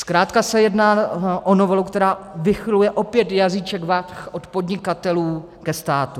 Zkrátka se jedná o novelu, která vychyluje opět jazýček vah od podnikatelů ke státu.